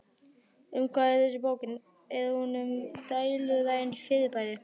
Um hvað er þessi bók, er hún um dulræn fyrirbæri?